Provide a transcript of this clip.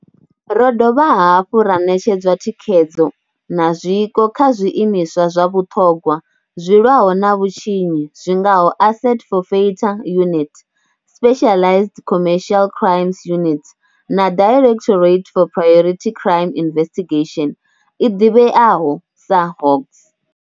Ro dovha hafhu ra ṋetshedzwa thikhedzo na zwiko kha zwiimiswa zwa vhuṱhogwa zwi lwaho na vhutshinyi zwi ngaho Asset Forfeiture Unit, Specialised Commercial Crimes Unit na Directorate for Priority Crime Investigation, i ḓivheaho sa Hawks.